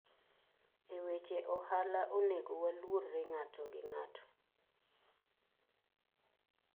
E weche ohala onego waluorre ngato gi ngato.